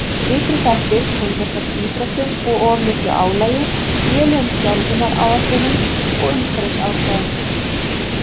Ytri þættir tengjast oft íþróttum og of miklu álagi, lélegum þjálfunaráætlunum og umhverfisaðstæðum.